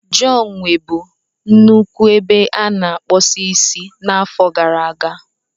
John nwebu nnukwu ebe a na-akpụ isi n'afọ gara aga.